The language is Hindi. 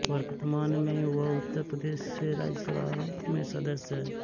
वर्तमान में वह उत्तर प्रदेश से राज्यसभा में सदस्य है